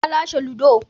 Na lashe ludo